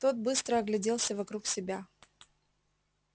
тот быстро огляделся вокруг себя